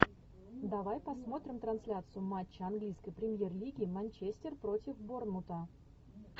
давай посмотрим трансляцию матча английской премьер лиги манчестер против борнмута